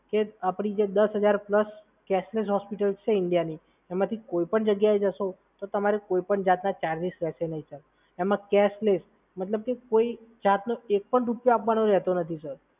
એ પણ ક્યારે આપડી દસ હજાર પ્લસ કેશલેસ હોસ્પિટલ્સ છે ઇન્ડિયામાં એમાંથી કોઈ પણ જગ્યાએ જશો, તો તમારે કોઈપણ જાતના ચાર્જિસ રહેશે નહીં, સર. એ કેશલેસ મતલબ કે કોઈ ચાર્જનો એકપણ રૂપિયો આપવાનો રહેતો નથી, સર.